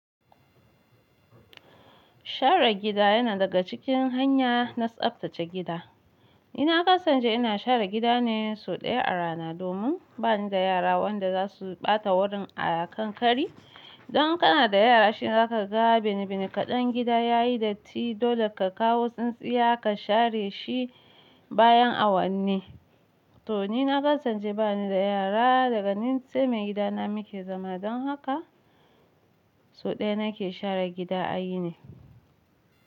Share gida yana daga cikin hanya na tsaftace gida. Ina kasance ina share gida ne sau ɗaya a rana domin bani da yara wanda za su ɓata wurin a kankari. Don kana da yara shine za ka ga binibini kaɗan gida yayi datti, dole ka kawo tsintsiya ka share shi bayan awanni. To ni na kasance bani da yara daga ni sai maigida na muke zama don haka sau ɗaya nake share gida a yini.